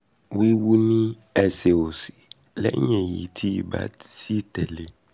wíwú ní ẹsẹ̀ òsì lẹ́yìn èyí tí ibà sì tẹ̀lé e